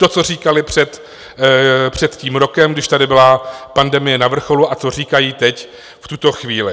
To, co říkali před tím rokem, když tady byla pandemie na vrcholu, a co říkají teď, v tuto chvíli.